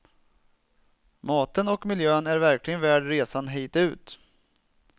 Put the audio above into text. Maten och miljön är verkligen värd resan hit ut.